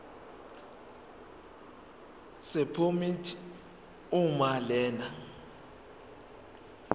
sephomedi uma lena